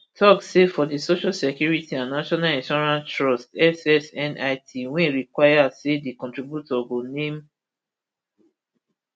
tok say for di social security and national insurance trust ssnit wey require say di contributor go name